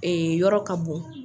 yɔrɔ ka bon.